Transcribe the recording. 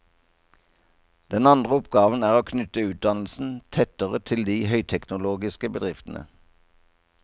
Den andre oppgaven er å knytte utdannelsen tettere til de høyteknologiske bedriftene.